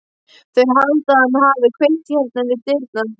Þeir halda að hann hafi kveikt í hérna við dyrnar.